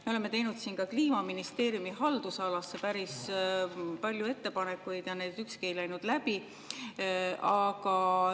Me oleme teinud siin ka Kliimaministeeriumi haldusala kohta päris palju ettepanekuid ja need ükski ei läinud läbi.